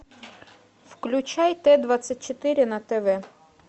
включай т двадцать четыре на тв